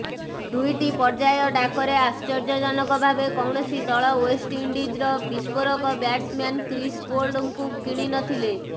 ଦୁଇଟି ପର୍ଯ୍ୟାୟ ଡାକରେ ଆଶ୍ଚର୍ଯ୍ୟଜନକ ଭାବେ କୌଣସି ଦଳ େଓ୍ବଷ୍ଟଇଣ୍ଡିଜ୍ର ବିସ୍ଫୋରକ ବ୍ୟାଟ୍ସମ୍ୟାନ୍ କ୍ରିସ୍ ଗେଲ୍ଙ୍କୁ କିଣି ନଥିଲେ